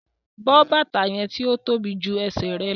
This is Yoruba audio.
Bọ bátà yẹn ti o tóbi jù ẹ̀sẹ̀ rẹ lọ̀!